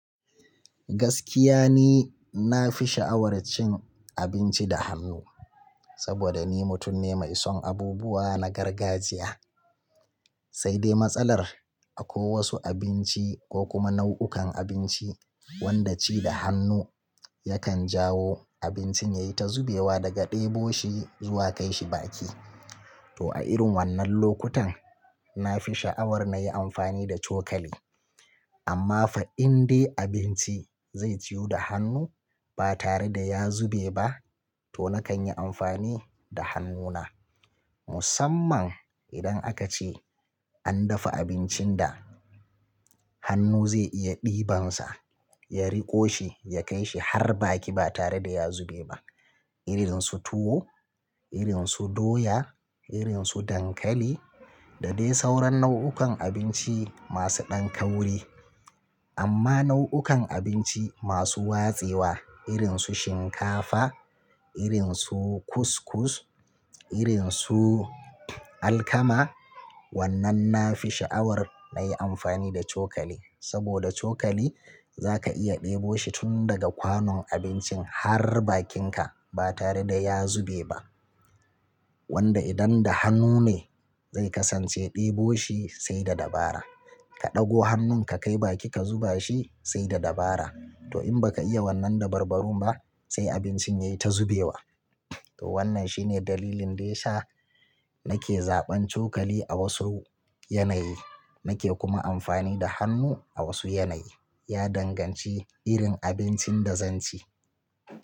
Gaskiya ne na fi sha'awar cin abinci da hannu saboda ni mutum ne mai son abubuwa na gargajiya, sai dai matsalar akwai wasu abinci ko kuma nau'ukan abinci wanda ci da hannu yakan jawo abincin yayi ta zubewa daga ɗebo shi zuwa kai shi baki. To a irin wannan lokutan na fi sha'awar na yi amfani da cokali. Amma fa in dai abinci zai ciyu da hannu ba tare da ya zube ba to nakan yi amfani da hannuna. Musamman idan aka ce an dafa abincin da hannu zai iya ɗibansa, ya riƙo shi, ya kai shi har baki ba tare da ya zube ba irin su tuwo, irin su doya, irin su dankali da dai sauran nau'ukan abinci masu ɗan kauri. Amma nau'ukan abinci masu watsewa irin su shinkafa, irin su kuskus, irin su alkama wannan na fi sha'awar na yi amfani da cokali saboda cokali za ka iya ɗebo shi tun daga kwanon abincin har bakinka ba tare da ya zube ba. Wanda idan da hannu ne zai kasance ɗebo shi sai da dabara. Ka ɗago hannun ka kai baki ka zuba shi sai da dabara. To in baka iya wannan dabarbarun ba sai abincin yayi ta zubewa. To wannan shine dalilin dai sha nake zaɓan cokali a wasu yanayi nake kuma amfani da hannu a wasu yanayi. Ya danganci irin abincin da zan ci.